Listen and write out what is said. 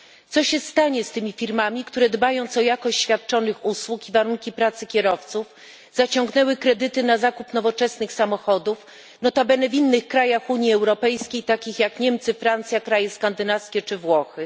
Co stanie się z tymi firmami, które, dbając o jakość świadczonych usług i warunki pracy kierowców, zaciągnęły kredyty na zakup nowoczesnych samochodów nota bene w innych krajach Unii Europejskiej, takich jak Niemcy, Francja, kraje skandynawskie czy Włochy?